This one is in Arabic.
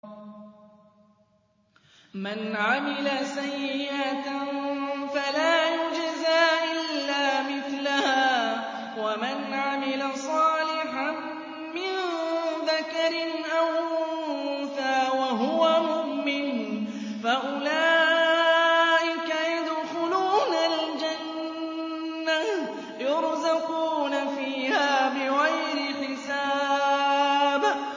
مَنْ عَمِلَ سَيِّئَةً فَلَا يُجْزَىٰ إِلَّا مِثْلَهَا ۖ وَمَنْ عَمِلَ صَالِحًا مِّن ذَكَرٍ أَوْ أُنثَىٰ وَهُوَ مُؤْمِنٌ فَأُولَٰئِكَ يَدْخُلُونَ الْجَنَّةَ يُرْزَقُونَ فِيهَا بِغَيْرِ حِسَابٍ